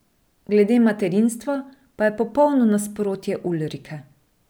Glede materinstva pa je popolno nasprotje Ulrike.